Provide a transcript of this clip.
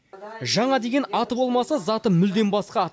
жаңа деген аты болмаса заты мүлдем басқа